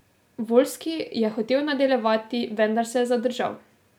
Voljski je hotel nadaljevati, vendar se je zadržal.